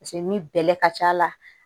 Paseke ni bɛlɛ ka ca la